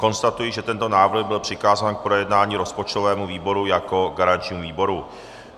Konstatuji, že tento návrh byl přikázán k projednání rozpočtovému výboru jako garančnímu výboru.